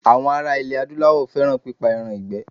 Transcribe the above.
Àwọn ara ilẹ̀ Adúláwọ̀ fẹ́ràn pípa ẹran ìgbẹ́.